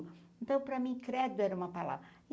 Então para mim, credo era uma palavra.